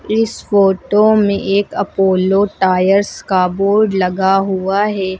इस फोटो में एक अपोलो टायर्स का बोर्ड लगा हुआ है।